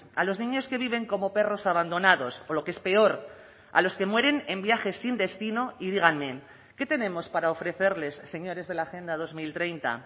a los niños que viven como perros abandonados o lo que es peor a los que mueren en viajes sin destino y díganme qué tenemos para ofrecerles señores de la agenda dos mil treinta